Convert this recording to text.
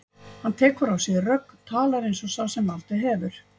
Hann tekur á sig rögg, talar eins og sá sem valdið hefur.